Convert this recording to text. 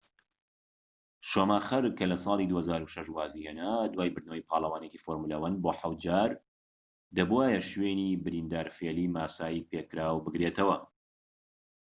شوماخر کە لە ساڵی 2006 وازی هێنا دوای بردنەوەی پاڵەوانێتی فۆرمولە 1 بۆ حەوت جار، دەبووایە شوێنی بریندارفێلی ماسای پێکراو بگرێتەوە‎